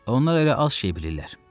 Onlar elə az şey bilirlər.